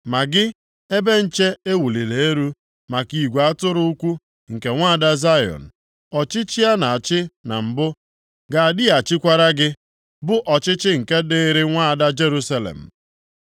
Ma gị, ebe nche e wuliri elu maka igwe atụrụ, ugwu nke nwaada Zayọn, ọchịchị a na-achị na mbụ ga-adịghachikwara gị; bụ ọchịchị nke dịrị nwaada Jerusalem.”